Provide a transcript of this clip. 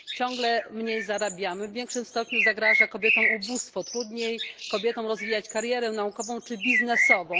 Ciągle mniej zarabiamy, w większym stopniu zagraża kobietom ubóstwo, trudniej kobietom rozwijać karierę naukową czy biznesową.